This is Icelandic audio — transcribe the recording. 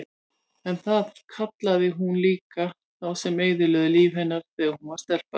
En það kallaði hún líka þá sem eyðilögðu líf hennar þegar hún var stelpa.